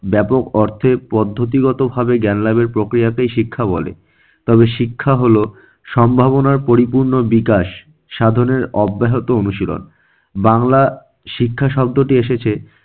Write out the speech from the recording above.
ব্যাপক অর্থে পদ্ধতিগতভাবে জ্ঞান লাভের প্রক্রিয়াকেই শিক্ষা বলে। তবে শিক্ষা হলো- সম্ভাবনার পরিপূর্ণ বিকাশ সাধনের অব্যাহত অনুশীলন। বাংলা শিক্ষা শব্দটি এসেছে